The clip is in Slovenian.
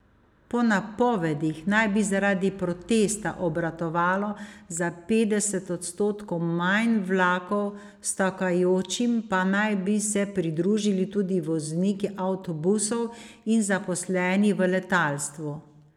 Po napovedih naj bi zaradi protesta obratovalo za petdeset odstotkov manj vlakov, stavkajočim pa naj bi se pridružili tudi vozniki avtobusov in zaposleni v letalstvu.